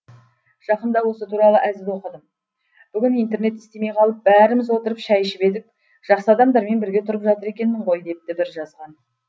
жақында осы туралы әзіл оқыдым бүгін интернет істемей қалып бәріміз отырып шай ішіп едік жақсы адамдармен бірге тұрып жатыр екенмін ғой депті бір жазған